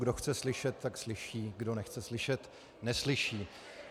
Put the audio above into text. Kdo chce slyšet, tak slyší, kdo nechce slyšet, neslyší.